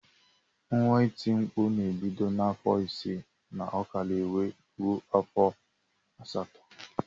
Nwa iti mkpụ na ebido na afọ isi na okara wee rue afọ asatọ.